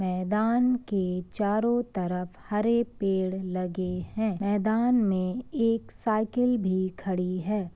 मैदान के चारों तरफ हरे पेड़ लगे है। मैदान में एक साइकिल भी खड़ी है।